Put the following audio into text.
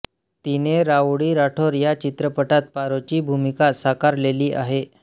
तिने राउडी राठोर या चिञपटात पारोची भूमिका साकारलेली आहे